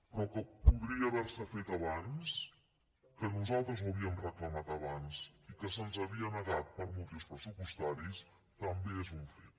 però que podria haver se fet abans que nosaltres ho havíem reclamat abans i que se’ns havia negat per motius pressupostaris també és un fet